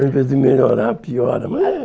Ao invés de melhorar, piora. Mas é